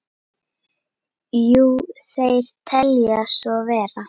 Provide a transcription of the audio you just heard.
Jú, þeir telja svo vera.